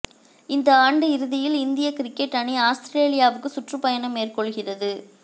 இந்த ஆண்டு இறுதியில் இந்தியக் கிரிக்கெட் அணி ஆஸ்திரேலியாவுக்கு சுற்றுப்பயணம் மேற்கொள்கிறது